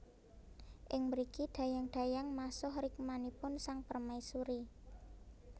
Ing mriki dayang dayang masuh rikmanipun sang permaisuri